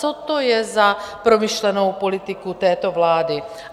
Co to je za promyšlenou politiku této vlády?